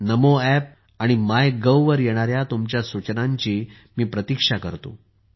नमो app आणि MyGov वर येणाऱ्या तुमच्या सूचनांची मी प्रतीक्षा करतो